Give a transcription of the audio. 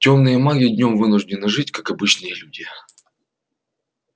тёмные маги днём вынуждены жить как обычные люди